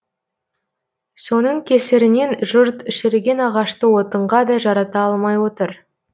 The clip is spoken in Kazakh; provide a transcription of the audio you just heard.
соның кесірінен жұрт шіріген ағашты отынға да жарата алмай отыр